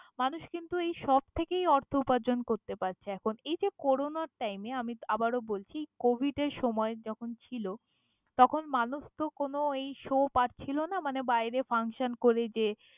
মানুষ কিন্তু এই সব থেকেই অর্থ উপার্জন করতে পারছে এখন, এই যে করোনার time আমি আবারও বলছি কোভিড এর সময় যখন ছিল, তখন মানুষ তো কোনো এই শো পাচ্ছিল না মানে বাইরে ফাংশন করে যে।